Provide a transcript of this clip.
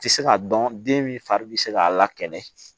Tɛ se k'a dɔn den min fari bɛ se k'a la kɛnɛ